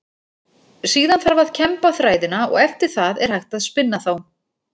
Síðan þarf að kemba þræðina og eftir það er hægt að spinna þá.